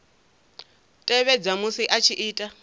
tevhedza musi a tshi ita